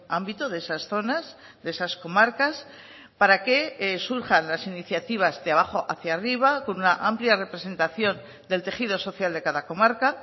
ámbito de esas zonas de esas comarcas para que surjan las iniciativas de abajo hacia arriba con una amplia representación del tejido social de cada comarca